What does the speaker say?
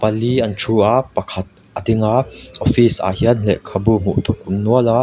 pali an thu a pakhat a ding a office ah hian lehkhabu hmuh tur awm nual a.